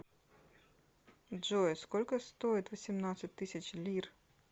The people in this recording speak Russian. джой сколько стоит восемнадцать тысяч лир